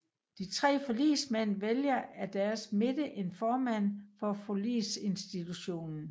De tre forligsmænd vælger af deres midte en formand for Forligsinstitutionen